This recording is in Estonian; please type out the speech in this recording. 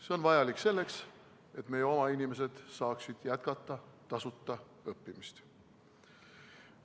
See on vajalik selleks, et meie oma inimesed saaksid jätkata tasuta õppimist.